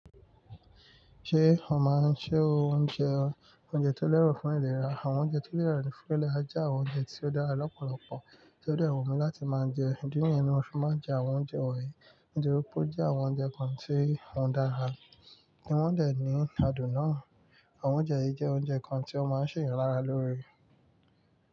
Ṣé o máa ń se oúnjẹ, oúnjẹ tó lẹ́rọ̀ fún ìlera? Àwọn oúnjẹ tó lẹ́rọ̀ fún ìlera jẹ́ àwọn oúnjẹ tí ó dára lọ́pọ̀lọpọ̀ tí ó dẹ̀ wù mi láti máa jẹ. Ìdí nìyẹn ni mo fi máa ń jẹ àwọn oúnjẹ wọ̀nyí. Nítorí ó jẹ́ àwọn oúnjẹ kan tí wọ́n dára tí wọ́n dẹ̀ ní adùn náà. Àwọn oúnjẹ yìí jẹ́ oúnjẹ kan tí ó máa ń ṣe èèyàn lára lóore.